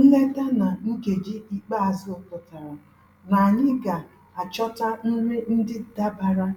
Nleta na nkeji ikpeazụ pụtara na anyị ga-achọta nri ndị dabara